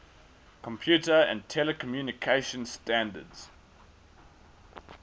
computer and telecommunication standards